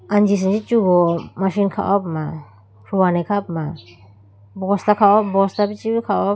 Anji senji chugo machine kha ho puma huwane kha ho puma bosta kha ho puma.